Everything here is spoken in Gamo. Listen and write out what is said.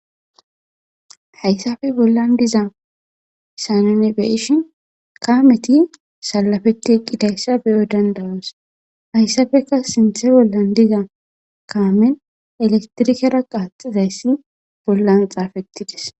hayssafe bollan diza sanonebeyishin kaameti salafeti eqqidayssa beyo dandawas hayssafeka sinthe bollan diza kaamen elektirikera qaaxizayssi bollan xaafettides